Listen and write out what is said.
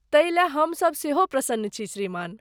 तै ले हम सब सेहो प्रसन्न छी श्रीमान।